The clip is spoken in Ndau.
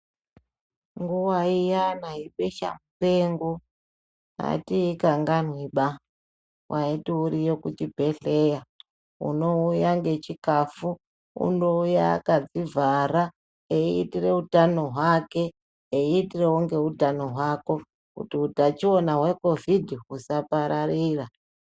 Nguwa iyaba yebesha mupengo atiikanganwiba waiti uriyo kuchibhedhleya unouya ngechikafu unouya akadzivhara eiitira utano hwake eiitirawo ngeutano hwako kuti utachiona hweCOVID usapararira.